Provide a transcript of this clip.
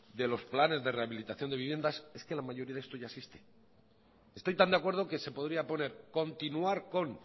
de los planes de rehabilitación de viviendas es que la mayoría de esto ya existe estoy tan de acuerdo que se podría poner continuar con